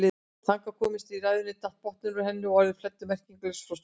Þangað komin í ræðunni datt botninn úr henni og orðin flæddu merkingarlaus frá stúlkunni.